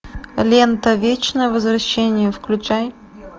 лента вечное возвращение включай